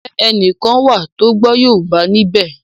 Njé ẹní kán wá tó gbó yorùbá níbè?